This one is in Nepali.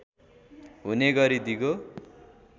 हुने गरी दिगो